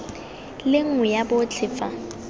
le nngwe ya botlhe fa